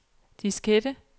diskette